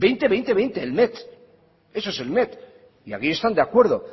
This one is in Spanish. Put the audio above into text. veinte veinte veinte el met eso es el met y aquí están de acuerdo